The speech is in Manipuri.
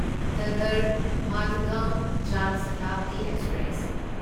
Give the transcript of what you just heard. ꯗꯗꯔ ꯃꯥꯗꯒꯥꯎꯟ ꯖꯥꯟ ꯁꯥꯇꯥꯕꯗꯤ ꯑꯦꯛꯁꯄ꯭ꯔꯦꯁ